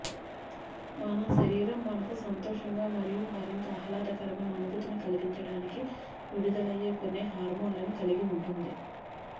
మన శరీరం మనకు సంతోషంగా మరియు మరింత ఆహ్లాదకరమైన అనుభూతిని కలిగించడానికి విడుదలయ్యే కొన్ని హార్మోన్లను కలిగి ఉంటుంది